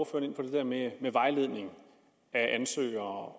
der med vejledning af ansøgere